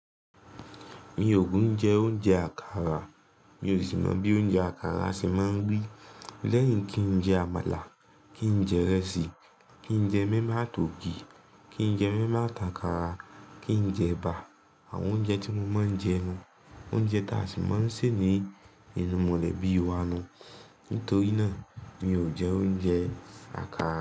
Mi ò kin jẹ oúnjẹ àkàrà. Mi ò sì mọ̀ bí oúnjẹ àkàrà ṣe máa ń rí. Lẹ́yìn kí n jẹ àmàlà, kí n jẹ ìrẹsì, kí n jẹ moimoi ati ògi, kí n jẹ moimoi áti ákàrà, kí n jẹ ẹ̀bà, àwọn oúnjẹ tí mo máa ń jẹ nu, oúnjẹ ta sì máa ń ṣè ní inú mọ́lẹ̀ bí i wa nu. Nítorí náà mi ò jẹ oúnjẹ àkàrà.